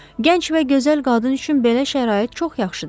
Gənc və gözəl qadın üçün belə şərait çox yaxşıdır.